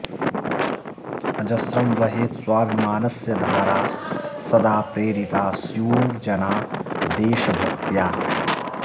अजस्रं वहेत् स्वाभिमानस्य धारा सदा प्रेरिता स्युर्जनाः देशभक्त्या